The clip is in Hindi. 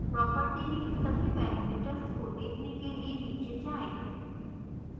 property में सभी parameters को देखने के लिए नीचे जाएँ